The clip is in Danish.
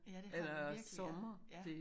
Ja det har vi virkelig ja. Ja